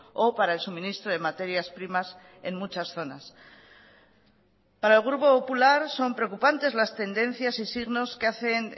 o para el suministro de materias primas en muchas zonas para el grupo popular son preocupantes las tendencias y signos que hacen